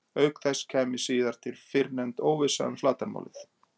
auk þess kæmi síðan til fyrrnefnd óvissa um flatarmálið